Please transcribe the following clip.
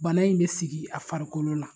Bana in bɛ sigi a farikolo la.